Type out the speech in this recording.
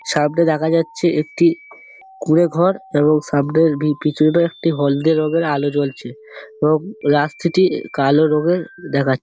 সামনে দেখা যাচ্ছে একটি কুঁড়ে ঘর এবং সামনে পিছনে একটি হলদে রঙের আলো জ্বলছে এবং রাস্তাটি কালো রঙের দেখাচ--